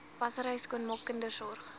wassery skoonmaak kindersorg